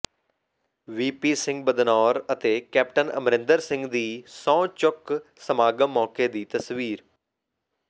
VP Singh Badnore ਅਤੇ captain Amarinder Singh ਦੀ ਸਹੁੰ ਚੁੱਕ ਸਮਾਗਮ ਮੌਕੇ ਦੀ ਤਸਵੀਰ